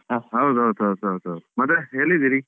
ಹಾ, ಹೌದು ಹೌದು ಹೌದು ಹೌದು ಹೌದು. ಮತ್ತೆ ಎಲ್ಲಿದ್ದೀರಿ?